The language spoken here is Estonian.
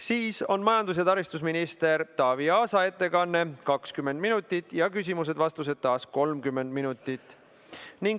Siis on majandus‑ ja taristuminister Taavi Aasa ettekanne, 20 minutit, küsimused ja vastused taas 30 minutit.